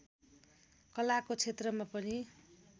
कलाको क्षेत्रमा पनि